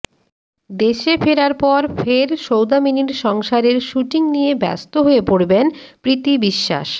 দেশে ফেরার পর ফের সৌদামিনীর সংসারের শ্যুটিং নিয়ে ব্যস্ত হয়ে পড়বেন প্রীতি বিশ্বাস